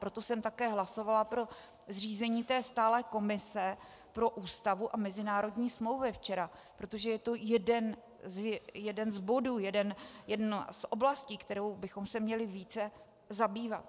Proto jsem také hlasovala pro zřízení té stálé komise pro Ústavu a mezinárodní smlouvy včera, protože je to jeden z bodů, jedna z oblastí, kterou bychom se měli více zabývat.